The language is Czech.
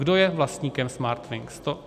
Kdo je vlastníkem Smartwings?